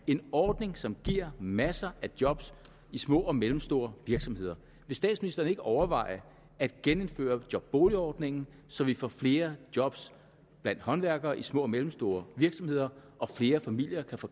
en ordning som giver masser af job i små og mellemstore virksomheder vil statsministeren ikke overveje at genindføre boligjobordningen så vi får flere job blandt håndværkere i små og mellemstore virksomheder og flere familier kan få